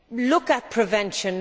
Look at prevention.